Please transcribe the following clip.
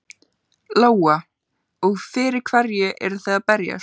Lóa: Og fyrir hverju eruð þið að berjast?